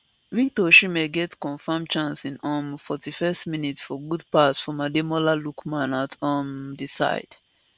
victor osimhen get confam chance in um 41st minute from good pass from ademola lookman at um di side